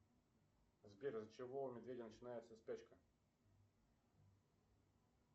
сбер из за чего у медведя начинается спячка